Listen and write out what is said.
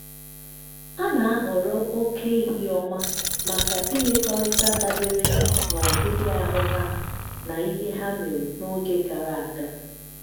a na-ahọrọ oke ehi ọma maka imekọrịta dabere na ọdịdị ahụ ha na ihe ha mere n’oge gara aga.